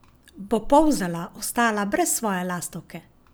Bo Polzela ostala brez svoje lastovke?